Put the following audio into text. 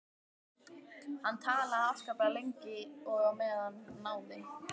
Hann talaði afskaplega lengi og á meðan náði